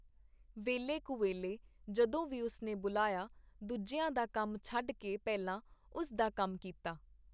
ਵੇਲੇ-ਕੁਵੇਲੇ ਜਦੋਂ ਵੀ ਉਸ ਨੇ ਬੁਲਾਇਆ, ਦੂਜਿਆਂ ਦਾ ਕੰਮ ਛਡ ਕੇ ਪਹਿਲਾਂ ਉਸ ਦਾ ਕੰਮ ਕੀਤਾ.